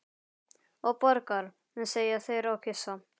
Og borgar, segja þeir og kyssa.